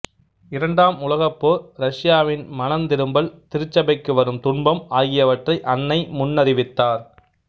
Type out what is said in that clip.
இரண்டாம் உலகப் போர் ரஷ்யாவின் மனந்திரும்பல் திருச்சபைக்கு வரும் துன்பம் ஆகியவற்றை அன்னை முன்னறிவித்தார்